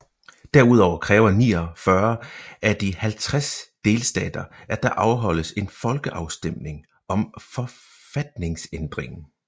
Derudover kræver 49 af de 50 delstater at der afholdes en folkeafstemning om forfatningsændringen